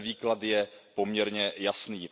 Ten výklad je poměrně jasný.